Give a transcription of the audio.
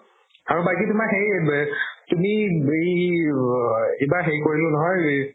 আৰু বাকি তোমাৰ হেৰি এব তুমি বেই ৰ এইবাৰ হেৰি কৰিলো নহয় এই